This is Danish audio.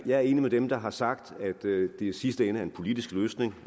er enig med dem der har sagt at det i sidste ende er en politisk løsning